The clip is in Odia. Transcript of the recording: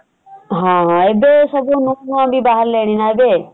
ହଁ ହଁ ଏବେ ସବୁ ନୂଆ ନୂଆ ବି ବାହାରିଲେଣି ନା ଏବେ ?